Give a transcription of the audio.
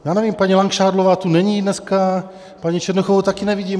Já nevím, paní Langšádlová tu není dneska, paní Černochovou taky nevidím.